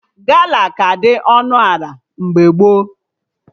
Gala ka dị ọnụ ana mgbe gboo